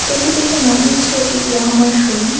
এটি দেখে মনে হচ্ছে এটি ইয়াহামার শোরুম ।